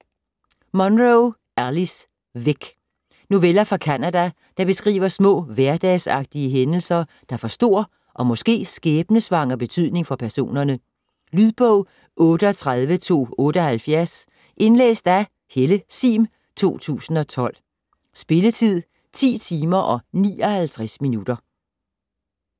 Munro, Alice: Væk Noveller fra Canada, der beskriver små hverdagsagtige hændelser, der får stor og måske skæbnesvanger betydning for personerne. Lydbog 38278 Indlæst af Helle Sihm, 2012. Spilletid: 10 timer, 59 minutter.